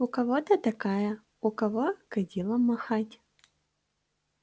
у кого-то такая у кого кадилом махать